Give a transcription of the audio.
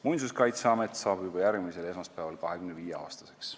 Muinsuskaitseamet saab juba järgmisel esmaspäeval 25-aastaseks.